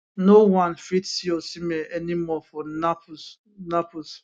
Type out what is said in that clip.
no one fit see osimhen anymore for naples naples